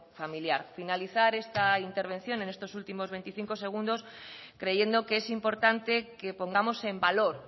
familiar finalizar esta intervención en estos últimos veinticinco segundos creyendo que es importante que pongamos en valor